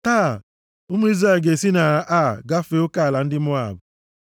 “Taa, ụmụ Izrel ga-esi na Ar gafee oke ala ndị Moab.